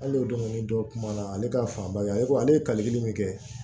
Hali o don ni dɔ kumana ale ka fanba ye ale ko ale ye kaliteli min kɛ